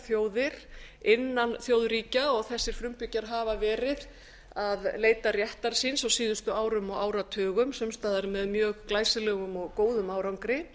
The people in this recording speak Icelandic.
þjóðir innan þjóðríkja og þessir frumbyggjar hafa verið að leita réttar síns á síðustu árum og áratugum sums staðar með mjög glæsilegum og góðum árangri